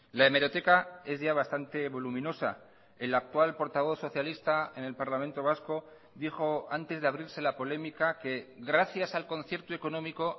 la hemeroteca es ya bastante voluminosa el actual portavoz socialista en el parlamento vasco dijo antes de abrirse la polémica que gracias al concierto económico